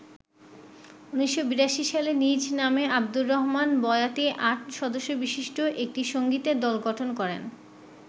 ১৯৮২ সালে নিজ নামে আবদুর রহমান বয়াতি আট সদস্যবিশিষ্ট একটি সংগীতের দল গঠন করেন।